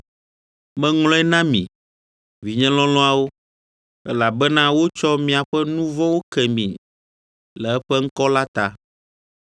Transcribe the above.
Meŋlɔe na mi, vinye lɔlɔ̃awo, Elabena wotsɔ miaƒe nu vɔ̃wo ke mi Le eƒe ŋkɔ la ta.